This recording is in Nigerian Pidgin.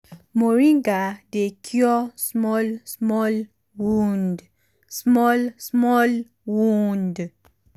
moringa dey cure small small wound. small small wound.